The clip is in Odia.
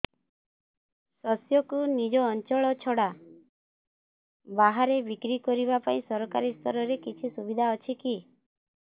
ଶସ୍ୟକୁ ନିଜ ଅଞ୍ଚଳ ଛଡା ବାହାରେ ବିକ୍ରି କରିବା ପାଇଁ ସରକାରୀ ସ୍ତରରେ କିଛି ସୁବିଧା ଅଛି କି